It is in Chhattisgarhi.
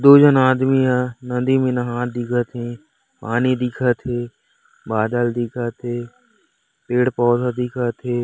दो झन आदमी ह नदी मे नहात दिखत हे पानी दिखत हे बादल दिखत हे पेड़ पौधा दिखत हे ।